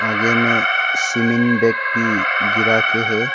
आगे में सीमेन भी गिरा के है।